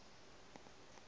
le ka swele ba a